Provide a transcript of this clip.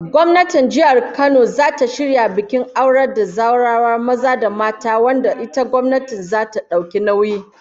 Gwamnatin jihar Kano zata shirya bikin aurar da zawarawa maza da mata, wanda ita gwamnatin zata dauki nauyi